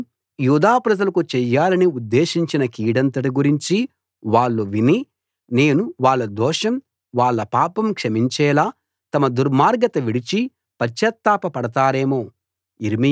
నేను యూదా ప్రజలకు చెయ్యాలని ఉద్దేశించిన కీడంతటి గురించి వాళ్ళు విని నేను వాళ్ళ దోషం వాళ్ళ పాపం క్షమించేలా తమ దుర్మార్గత విడిచి పశ్చాత్తాప పడతారేమో